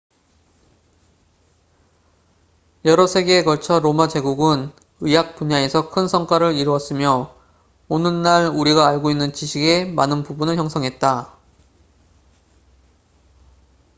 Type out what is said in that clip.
여러 세기에 걸쳐 로마 제국은 의학 분야에서 큰 성과를 이루었으며 오늘날 우리가 알고 있는 지식의 많은 부분을 형성했다